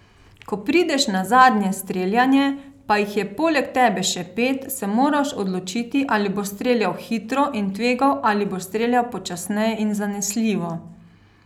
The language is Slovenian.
Ko prideš na zadnje streljanje, pa jih je poleg tebe še pet, se moraš odločiti, ali boš streljal hitro in tvegal ali boš streljal počasneje in zanesljivo.